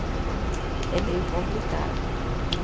Então, é meio complicado né.